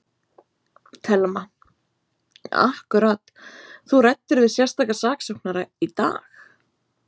Telma: Akkúrat, þú ræddir við sérstaka saksóknara í dag?